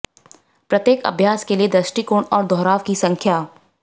प्रत्येक अभ्यास के लिए दृष्टिकोण और दोहराव की संख्या